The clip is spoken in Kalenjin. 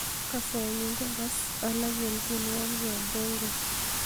kasenyun ko agas alak en tienwogik ab bongo